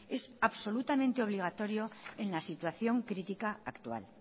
es absolutamente obligatorio en la situación crítica actual